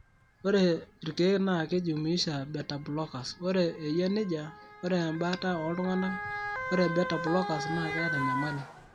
Ore irkeek naa keijumuuisha beta blockers; ore eyia nejia, ore embata ooltung'anak ,ore beta blockers naa keeta enyamali.